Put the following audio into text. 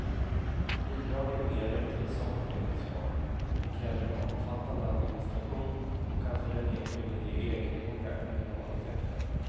Bidrag är en mer rättvis omfördelningsform, men kräver en omfattande administration och kan för den enskilde ge egendomliga marginaleffekter.